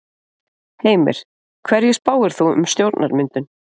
Heimir: Hverju spáir þú um stjórnarmyndun?